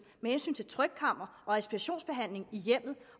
med hensyn til trykkammer og respirationsbehandling i hjemmet